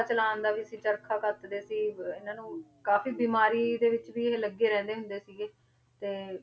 ਚਲਾਉਣ ਦਾ ਵੀ ਸੀ ਚਰਖਾ ਕੱਤਦੇ ਸੀ ਇਹਨਾਂ ਨੂੰ ਕਾਫ਼ੀ ਬਿਮਾਰੀ ਦੇ ਵਿੱਚ ਵੀ ਇਹ ਲੱਗੇ ਰਹਿੰਦੇ ਹੁੰਦੇ ਸੀਗੇ ਤੇ